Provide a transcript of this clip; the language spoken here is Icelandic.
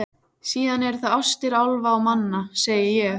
Síðan eru það ástir álfa og manna, segi ég.